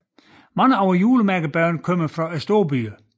Mange af julemærkebørnene kommer fra storbyerne